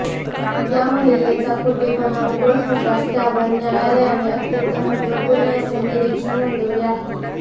या महिलेचा खोटेपणा उघड होताच त्यावर न्यायालयाने अत्यंत महत्त्वपूर्ण असे निरीक्षण नोंदवले आहे